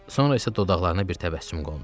Sonra isə dodaqlarına bir təbəssüm qondu.